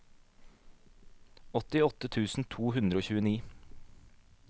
åttiåtte tusen to hundre og tjueni